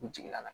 U jigin na